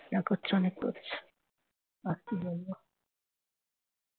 যা করছে অনেক করেছে